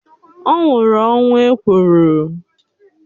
Ọ nwụrụ ọnwụ ekworo